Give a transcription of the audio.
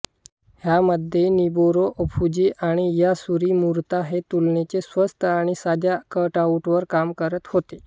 ह्यामध्ये Noburo Ofuji आणि Yasuji Murata हे तुलनेनी स्वस्त आणि साध्या कटआऊटवर काम करत होते